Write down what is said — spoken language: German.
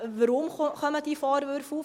Weshalb kommen diese Vorwürfe auf?